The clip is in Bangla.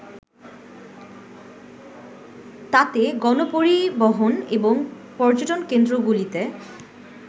তাতে গণপরিবহন এবং পর্যটনকেন্দ্রগুলিতে